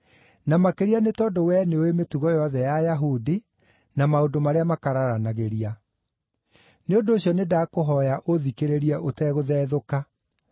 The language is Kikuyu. na makĩria nĩ tondũ wee nĩũũĩ mĩtugo yothe ya Ayahudi na maũndũ marĩa makararanagĩria. Nĩ ũndũ ũcio nĩndakũhooya ũũthikĩrĩrie ũtegũthethũka.